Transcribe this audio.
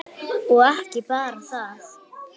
Og ekki bara það: